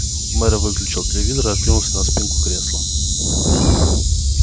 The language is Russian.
мэр выключил телевизор и откинулся на спинку кресла